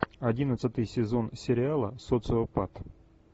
одиннадцатый сезон сериала социопат